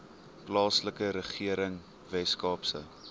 plaaslike regering weskaapse